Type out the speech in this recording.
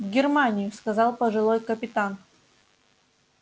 в германию сказал пожилой капитан